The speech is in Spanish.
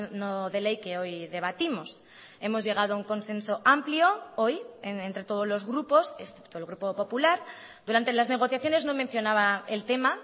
no de ley que hoy debatimos hemos llegado a un consenso amplio hoy entre todos los grupos excepto el grupo popular durante las negociaciones no mencionaba el tema